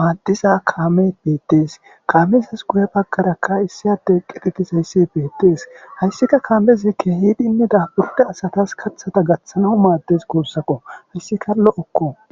maaddiza kaame beettees kaamesas guye baggarakka issi adde qiqitis hayssi beettees hayssika kaamezekke hiidinne daaburde asatas kathata gaththana maaddes kuussako hayssika lo7okko